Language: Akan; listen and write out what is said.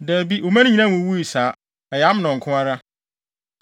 Dabi, wo mma no nyinaa nwuwui saa. Ɛyɛ Amnon nko ara.”